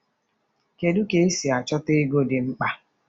Kedu ka esi achọta ego dị mkpa?